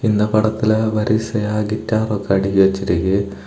இந்த படத்துல வரிசயா கிட்டார் ஒக்க அடுக்கி வெச்சிருக்கு.